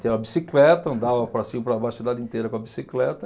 Tinha uma bicicleta, andava para cima e para baixo, a cidade inteira com a bicicleta.